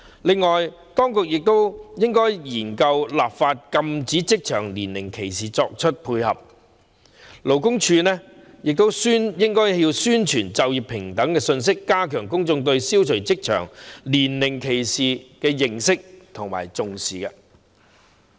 此外，當局亦應研究立法禁止職場年齡歧視，勞工處亦應宣傳就業平等信息，加強公眾對消除職場年齡歧視的認識和重視。